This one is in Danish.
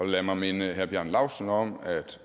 lad mig minde herre bjarne laustsen om at det